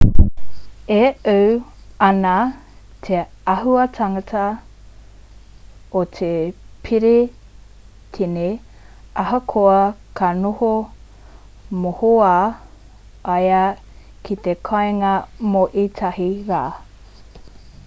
e ū ana te āhuatanga o te perehitene ahakoa ka noho mohoao ia ki te kāinga mō ētahi rā